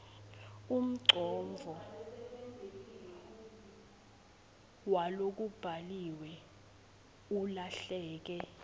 umcondvo walokubhaliwe ulahleke